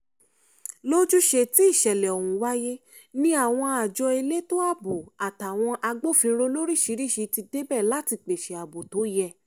lójúṣe tíṣẹ̀lẹ̀ ọ̀hún wáyé ni àwọn àjọ elétò ààbò àtàwọn agbófinró lóríṣiríṣii ti débẹ̀ láti pèsè ààbò tó yẹ